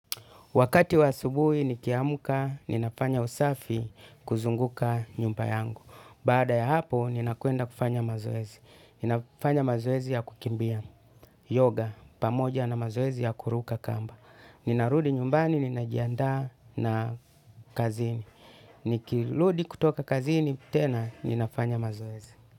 Wakati wa asubuhi nikiamka, ninafanya usafi kuzunguka nyumba yangu. Baada ya hapo, ninakwenda kufanya mazoezi. Ninafanya mazoezi ya kukimbia. Yoga, pamoja na mazoezi ya kuruka kamba. Ninarudi nyumbani, ninajiandaa na kazini. Nikiludi kutoka kazini, tena ninafanya mazoezi.